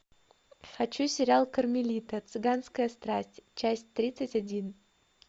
хочу сериал кармелита цыганская страсть часть тридцать один